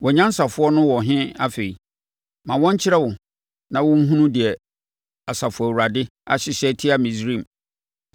Wʼanyansafoɔ no wɔ he afei? Ma wɔnkyerɛ wo na ma wɔnhunu deɛ Asafo Awurade ahyehyɛ atia Misraim.